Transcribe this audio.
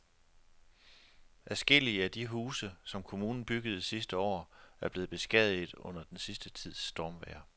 Adskillige af de huse, som kommunen byggede sidste år, er blevet beskadiget under den sidste tids stormvejr.